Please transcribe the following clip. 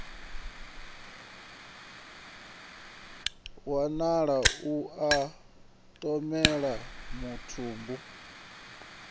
wanala lu na mathomele mutumbu